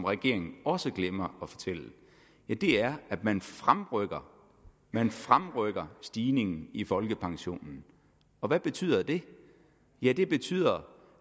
regeringen også glemmer at fortælle er at man fremrykker man fremrykker stigningen i folkepensionen og hvad betyder det ja det betyder